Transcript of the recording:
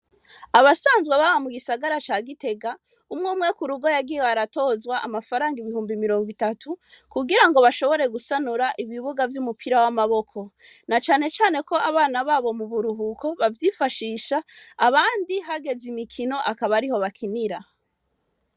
Abasanzwe baba mugisagara ca gitega umwumwe k'urugo yagiye aratozwa amafaranga ibihumbi mirongo itatu kugirango bashobore gusanura ibibuga vy'umupira w'amaboko nacanecane ko abana babo muburuhuko bavyifashisha abandi hageze imikino akaba ariho bakinira.